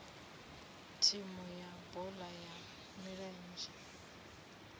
thimu ya bola ya milenzhe